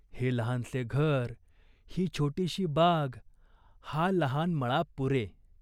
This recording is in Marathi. हे लहानसे घर, ही छोटीशी बाग, हा लहान मळा पुरे.